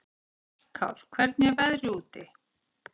Hjallkár, hvernig er veðrið úti?